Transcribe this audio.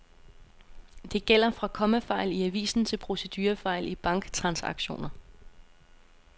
Det gælder fra kommafejl i avisen til procedurefejl i banktransaktioner.